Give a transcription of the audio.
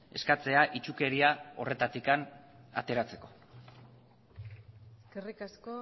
eskatzea itsukeria horretatik ateratzeko eskerrik asko